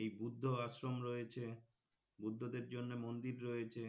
এই বৌদ্ধ আশ্রম রয়েছে বুদ্ধদের জন্য মন্দির রয়েছে,